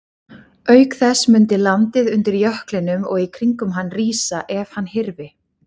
Auk þess mundi landið undir jöklinum og í kringum hann rísa ef hann hyrfi.